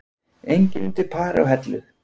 Enginn undir pari á Hellu